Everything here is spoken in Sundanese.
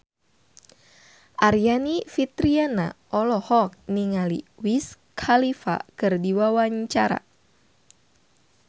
Aryani Fitriana olohok ningali Wiz Khalifa keur diwawancara